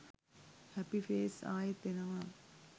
හැපි face ආයෙත් එනවා